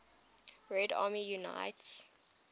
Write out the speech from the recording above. red army units